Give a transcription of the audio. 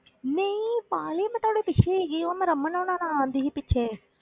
ਨਹੀਂ ਪਾਗਲੇ ਮੈਂ ਤੁਹਾਡੇ ਪਿੱਛੇ ਹੀ ਸੀਗੀ ਉਹ ਮੈਂ ਰਮਣ ਹੋਣਾਂ ਨਾ ਆਉਂਦੀ ਸੀ ਪਿੱਛੇ।